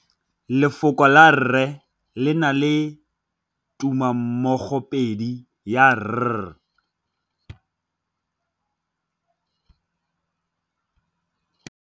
Lefoko la rre le na le tumammogôpedi ya, r.